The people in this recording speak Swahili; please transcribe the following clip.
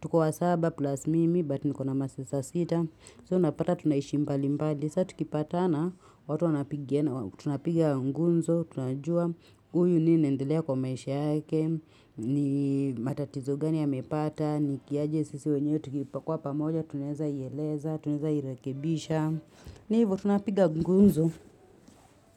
Tuko wa saba plus mimi, but niko na masesta sita. So unapata tunaishia mbali mbali, saa tukipatana, watu wanapigia tu napiga gumzo, tunajua uyu nini inaendelea kwa maisha yake, ni matatizo gani ya mepata, ni kiaje sisi wenyewe tukiwa pamoja, tuneza ieleza, tuneza irekebisha, ni hivo tunapiga gunzo.